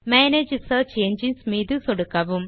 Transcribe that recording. manage search engines மீது சொடுக்கவும்